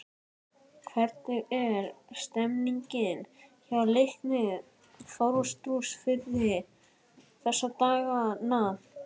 Hvernig er stemningin hjá Leikni Fáskrúðsfirði þessa dagana?